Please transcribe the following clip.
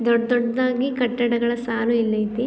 ದೊಡ್ ದೊಡ್ದಗಿ ಕಟ್ಟಡಗಳ ಸಾಲು ಇಲ್ ಅಯ್ತಿ.